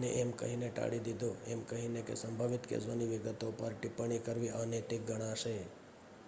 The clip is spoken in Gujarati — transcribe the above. ને એમ કહીને ટાળી દીધો એમ કહીને કે સંભવિત કેસોની વિગતો પર ટિપ્પણી કરવી અનૈતિક ગણાશે